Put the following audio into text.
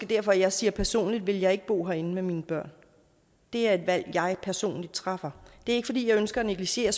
derfor jeg siger at personligt ville jeg ikke bo herinde med mine børn det er et valg som jeg personligt træffer det er ikke fordi jeg ønsker at negligere